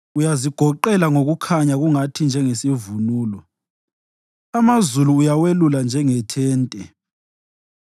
Uyazigoqela ngokukhanya kungathi njengesivunulo; amazulu uyawelula njengethente